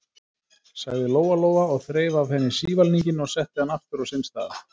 sagði Lóa-Lóa og þreif af henni sívalninginn og setti hann aftur á sinn stað.